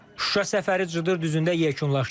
Şuşa səfəri Cıdır düzündə yekunlaşdı.